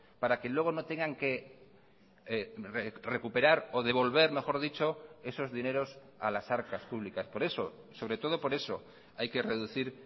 para que luego no tengan que recuperar o devolver mejor dicho esos dineros a las arcas públicas por eso sobre todo por eso hay que reducir